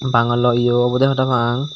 bangala eyo obo deh parapang.